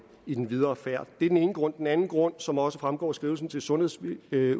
i den videre færd det er den ene grund den anden grund som også fremgår af skrivelsen til sundhedsudvalget